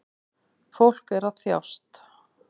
Fólk er að þjást